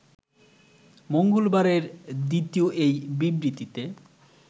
মঙ্গলবারের দ্বিতীয় এই বিবৃতিতে